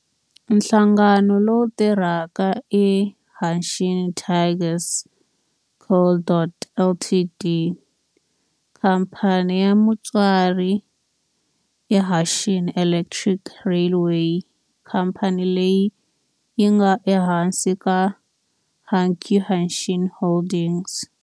Nhlangano lowu tirhaka i Hanshin Tigers Co., Ltd. Khamphani ya mutswari i Hanshin Electric Railway, khamphani leyi nga ehansi ka Hankyu Hanshin Holdings.